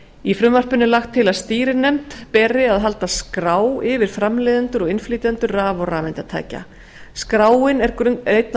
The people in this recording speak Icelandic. í frumvarpinu er lagt til að stýrinefnd beri að halda skrá yfir framleiðendur og innflytjendur raf og rafeindatækja skráin er einn af